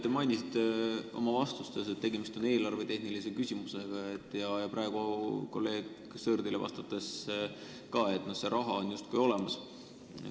Te mainisite oma vastustes, et tegemist on eelarvetehnilise küsimusega ja praegu kolleeg Sõerdile vastates ütlesite ka, et see raha on justkui olemas.